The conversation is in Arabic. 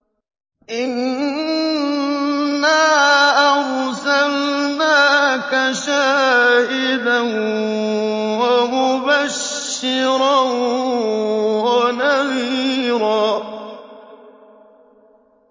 إِنَّا أَرْسَلْنَاكَ شَاهِدًا وَمُبَشِّرًا وَنَذِيرًا